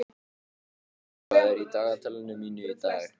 Skíði, hvað er á dagatalinu mínu í dag?